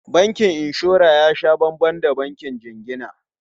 Bankin inshora ya sha banban da bankin jingina.